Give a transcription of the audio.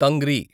తంగ్రి